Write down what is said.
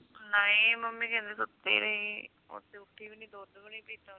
ਨਹੀਂ ਮੰਮੀ ਕਹਿੰਦੇ ਸੁੱਤੀ ਰਹੀ ਉਹ ਤੇ ਉਠੀ ਵੀ ਨੀ ਦੁੱਧ ਵੀ ਨੀ ਪੀਤਾ